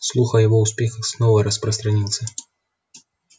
слух о его успехах снова распространился